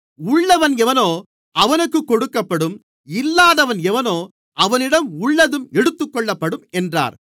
உள்ளவன் எவனோ அவனுக்குக் கொடுக்கப்படும் இல்லாதவன் எவனோ அவனிடம் உள்ளதும் எடுத்துக்கொள்ளப்படும் என்றார்